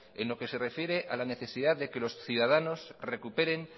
en lo que se refiere a la necesidad de que los ciudadanos recuperen